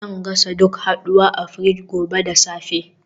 Zan gasa duk haduwa a fridge gobe da safe